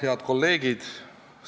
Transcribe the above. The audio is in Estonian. Head kolleegid!